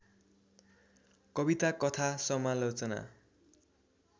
कविता कथा समालोचना